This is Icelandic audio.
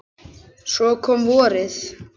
Svo kom vorið.